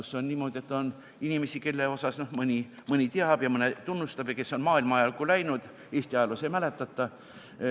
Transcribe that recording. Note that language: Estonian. Seal on niimoodi, et on inimesi , kes on maailma ajalukku läinud, Eesti ajaloos neid ei mäletata.